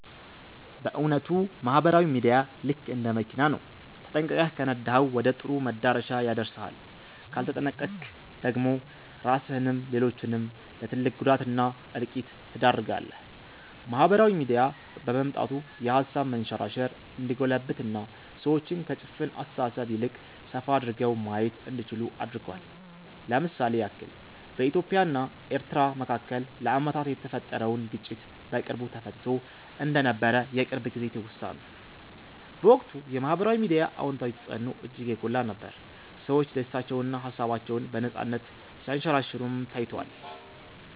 በ እዉነቱ ማህበራዊ ሚዲያ ልክ እንደ መኪና ነው፤ ተጠንቅቀህ ከነዳኀው ወደ ጥሩ መዳረሻ ያደርስሃል ካልተጠነቅቀክ ደግሞ ራስህንም ሌሎችንም ለ ትልቅ ጉዳት እና እልቂት ትዳርጋለህ። ማህበራዊ ሚዲያ በመምጣቱ የሃሳብ መንሸራሸር እንዲጎለብትና ሰዎች ከ ጭፍን አስተሳሰብ ይልቅ ሰፋ አድርገው ማየት እንዲችሉ አድርጓል። ለ ምሳሌ ያክል በኢትዮጵያ እና ኤርትራ መካከል ለአመታት የተፈጠረውን ግጭት በቅርቡ ተፈትቶ እንደነበር የቅርብ ጊዜ ትውስታ ነው። በወቅቱ የ ማህበራዊ ሚዲያ አወንታዊ ተፅዕኖ እጅግ የጎላ ነበር፤ ሰዎች ደስታቸውንና ሃሳባቸውን በነፃነት ሲያንሸራሽሩም ታይቷል።